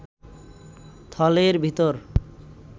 থলের ভিতর